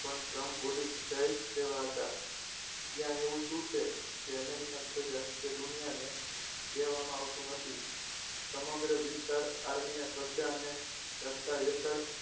પણ trump બોલી જાય તેવા હતા ત્યાં એવું શું છે કે american પ્રજા કે દુનિયાને કહેવામાં આવતું નથી સમગ્ર વિસ્તાર આર્મીના કબજા અને હેઠળ છે